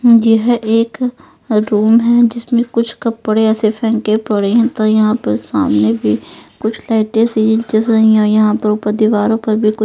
ये है एक अ रूम है जिसमें कुछ कपड़े ऐसे फेंके पड़े हैं त यहाँ पर सामने भी कुछ लाइटे सी जैसे य यहाँ ऊपर दीवारों पर भी कुछ--